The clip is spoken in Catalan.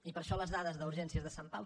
i per això les dades d’urgències de sant pau